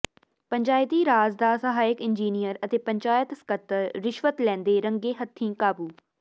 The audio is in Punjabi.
ਪੰਚਾਇਤੀ ਰਾਜ ਦਾ ਸਹਾਇਕ ਇੰਜੀਨੀਅਰ ਅਤੇ ਪੰਚਾਇਤ ਸਕੱਤਰ ਰਿਸ਼ਵਤ ਲੈਂਦੇ ਰੰਗੇ ਹੱਥੀਂ ਕਾਬੂ